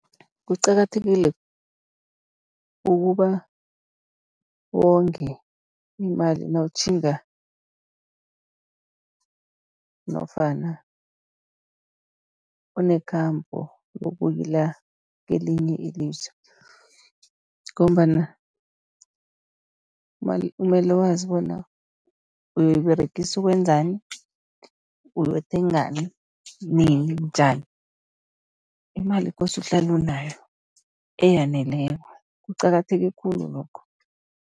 Kuqakathekile ukuba wonge imali nawutjhinga nofana unekhambo lokuyila kelinye ilizwe, ngombana kumele wazi bona uyoyiberegisa ukwenzani, uyokuthengani, nini, njani. Imali kose uhlale unayo eyaneleko, kuqakatheke khulu lokho.